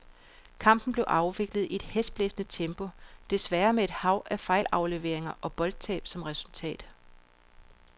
Kampen blev afviklet i et hæsblæsende tempo, desværre med et hav af fejlafleveringer og boldtab som resultat.